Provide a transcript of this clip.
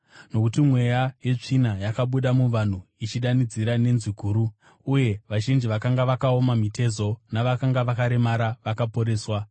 Nokuti mweya yetsvina yakabuda muvanhu ichidanidzira nenzwi guru, uye vazhinji vakanga vakaoma mitezo navakanga vakaremara vakaporeswa.